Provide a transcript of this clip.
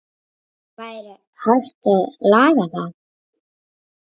Væri hægt að laga það?